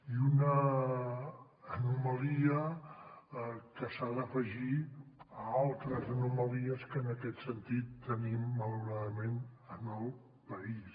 i una anomalia que s’ha d’afegir a altres anomalies que en aquest sentit tenim malauradament en el país